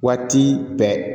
Waati bɛɛ